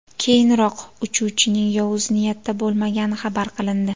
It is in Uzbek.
Keyinroq uchuvchining yovuz niyatda bo‘lmagani xabar qilindi.